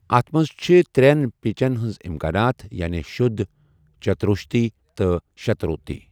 اَتھ منٛز چھِ ترٛٮ۪ن پِچَن ہٕنٛز امکانات، یعنی شدھ، چتشروتی، تہٕ شتشروتی۔